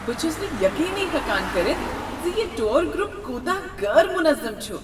بہٕ چھُس یقینے ہٮ۪کان کٔرِتھ زِ یہ ٹوٗر گرپ کوتاہ غٲر منظم چھ۔